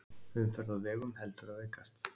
Umferð á vegum heldur að aukast